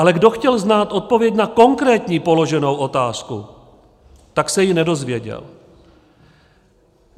Ale kdo chtěl znát odpověď na konkrétní položenou otázku, tak se ji nedozvěděl.